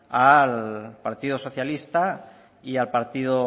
al partido socialista y al partido